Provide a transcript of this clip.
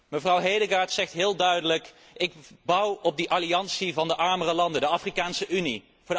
Mevrouw Hedegaard zegt heel duidelijk Ik bouw op de alliantie van de armere landen, de Afrikaanse Unie.